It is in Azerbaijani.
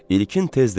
İlkin tez dedi.